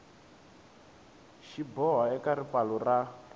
xi boha eka ripfalo ra